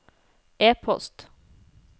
e-post